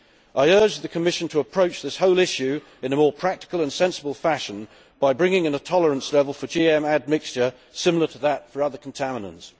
I urge the Commission to approach this whole issue in a more practical and sensible fashion by bringing in a tolerance level for GM admixture similar to that for other contaminants.